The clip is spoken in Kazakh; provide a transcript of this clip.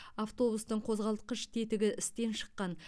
автобустың қозғалтқыш тетігі істен шыққан